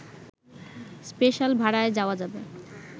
special ভাড়ায় যাওয়া যাবে